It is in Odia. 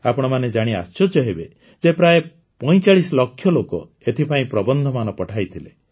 ଆପଣମାନେ ଜାଣି ଆଶ୍ଚର୍ଯ୍ୟ ହେବେ ଯେ ପ୍ରାୟ ପଇଁଚାଳିଶ ଲକ୍ଷ ଲୋକ ଏଥିପାଇଁ ପ୍ରବନ୍ଧମାନ ପଠେଇଥିଲେ